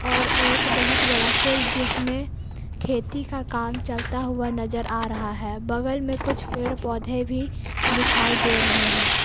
और एक बहुत बड़ा फील्ड जिसमें खेती का काम चलता हुआ नजर आ रहा है बगल में कुछ पेड़ पौधे भी दिखाई दे रहे हैं।